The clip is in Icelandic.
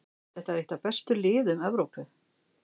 Þetta er eitt af bestu liðum Evrópu.